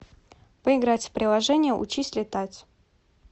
поиграть в приложение учись летать